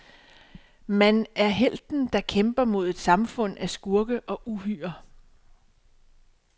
Man er helten, der kæmper mod et samfund af skurke og uhyrer.